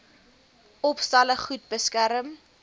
opstalle goed beskerm